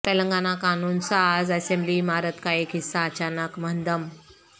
تلنگانہ قانون ساز اسمبلی عمارت کا ایک حصہ اچانک منہدم